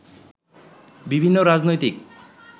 বিভিন্ন রাজনৈতিক